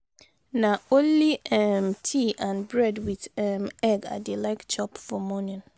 na only um tea and bread wit um egg i dey like chop for morning.